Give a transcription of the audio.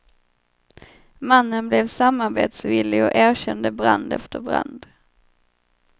Mannen blev samarbetsvillig och erkände brand efter brand.